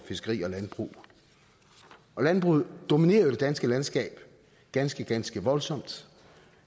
fiskeri og landbrug landbruget dominerer jo det danske landskab ganske ganske voldsomt